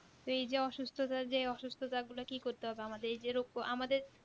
এই যে অসুস্ততার যে অসুস্ততা গুলো কি করতে হবে আমাদের এই যে রোগ তো আমাদের